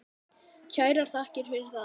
Kærar þakkir fyrir það.